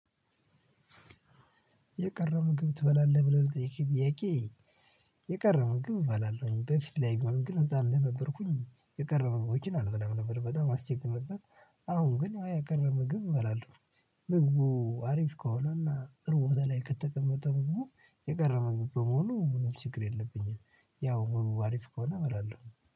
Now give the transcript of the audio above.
የቀረው ምግብ ትበላለህ ብለህ ብትጠይቂ ጥያቄ? የቀረበ ምግብ እባላለሁ በፊት ላይ ግን እዛ እንደነበርኩኝ የቀረበው ወጪን አልበላም ነበር። በጣም አስቼክ ትመጣለህ አሁን ግን የቀረበ ምግብ እባላለሁ። ምግቡ አሪፍ ከሆነና እርዎታ ላይ ከተቀመጠ ምግቡ የቀረ ምግብ በሙሉ ምንም ችግር የለብኝም። ያው ምን አሪፍ ከሆነ መላል ነው።